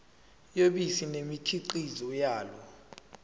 yobisi nemikhiqizo yalo